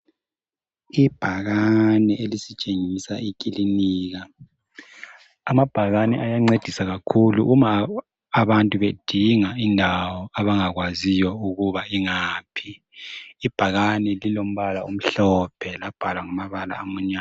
Ibhakane elisitshengisa ikilinika. Amabhakane ayasincedisa kakhulu uma abantu bedinga indawo abangakwaziyo ukuba ingaphi. Ibhakane lilombala omhlophe labhalwa ngamabala amnyama.